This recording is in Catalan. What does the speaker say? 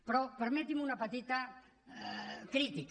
però permeti’m una petita crítica